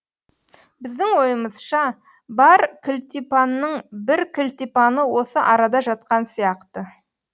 біздің ойымызша бар кілтипанның бір кілтипаны осы арада жатқан сияқты